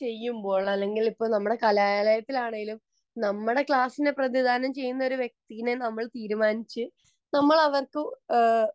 ചെയ്യുമ്പോൾ അത് അല്ലെങ്കിൽ കലാലയത്തിലാണേലും നമ്മളെ ക്ലാസ്സിനെ പ്രതിനിധാനം ചെയ്യുന്ന ഒരു വ്യക്തി തീരുമാനിച്ചു നമ്മൾ അവർക്ക്